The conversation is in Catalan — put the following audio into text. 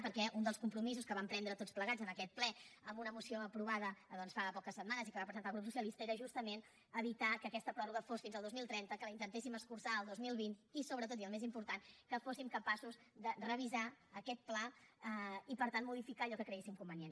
perquè un dels compromisos que vam prendre tots plegats en aquest ple en una moció aprovada doncs fa poques setmanes i que va presentar el grup socialista era justament evitar que aquesta pròrroga fos fins al dos mil trenta que la intentéssim escurçar al dos mil vint i sobretot i el més important que fóssim capaços de revisar aquest pla i per tant modificar allò que creguéssim convenient